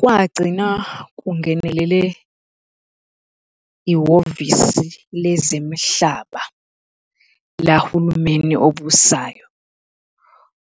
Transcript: Kwagcina kungenelele ihhovisi lezemihlaba lahulumeni obusayo,